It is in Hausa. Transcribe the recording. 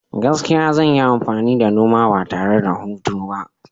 Gaskiya, zan yi amfani da noma ba tare da hutu ba.